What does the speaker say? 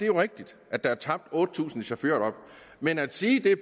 jo rigtigt at der er tabt otte tusind chaufførjob men at sige at